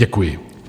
Děkuji.